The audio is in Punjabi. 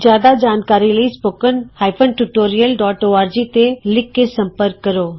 ਜਿਆਦਾ ਜਾਣਕਾਰੀ ਲਈ spoken hyphen tutorial dot org spoken tutorialਓਰਗ ਤੇ ਲਿਖ ਕੇ ਸੰਪਰਕ ਕਰੋ